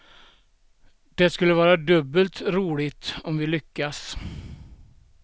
Det skulle vara dubbelt roligt om vi lyckas.